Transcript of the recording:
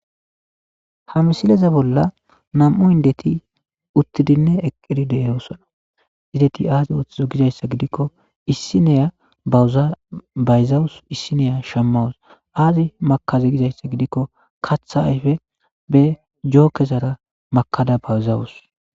Ha misileze bolla nam'u indeti uttidinne eqqidi de'eyosona izdeti aazi ooththizo gizayssa gidikko issineya ubayzawus issineya shammawus aazi makazi gizayssa gidikko katha ayfe be jookezara makada bawuzawus.